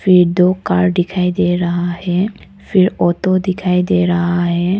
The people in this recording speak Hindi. फिर दो कार दिखाई दे रहा है फिर ऑटो दिखाई दे रहा है।